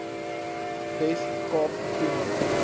wes kaap doen